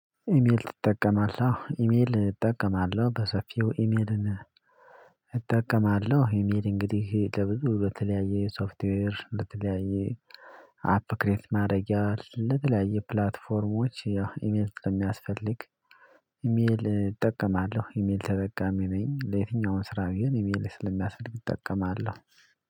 "ኢሜል ትጠቀማለህ?"። አዎ፣ ኢሜል እጠቀማለሁ በሰፊው። ኢሜልን እጠቀማለሁ ኢሜል እንግዲህ ለብዙ በተለያየ የሶፍትዌር፣ በተለያየ አፕ ክሬት ማረጊያ፣ ለተለያየ ፕላትፎርሞች ያው ኢሜል ስለሚያስፈልግ ኢሜል እጠቀማለሁ። ኢሜል ተጠቃሚ ነኝ። ለየትኛውም ስራው ቢሆን ኢሜል ስለሚያስፈልግ እጠቀማለሁ።